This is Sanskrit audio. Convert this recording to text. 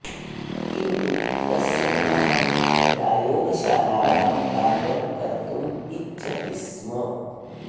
किन्तु तस्य मनः प्रायोगशालायां कार्यं कर्तुम् इच्छति स्म